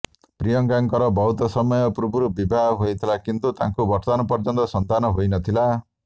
ପ୍ରିୟଙ୍କାଙ୍କର ବହୁତ ସମୟ ପୂର୍ବରୁ ବିବାହ ହୋଇଥିଲା କିନ୍ତୁ ତାଙ୍କୁ ବର୍ତ୍ତମାନ ପର୍ଯ୍ୟନ୍ତ ସନ୍ତାନ ହୋଇନଥିଲା